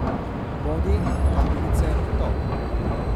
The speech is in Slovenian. Bodi, tangice, top ...